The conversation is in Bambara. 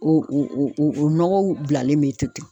O o o nɔgɔw bilalen be to ten.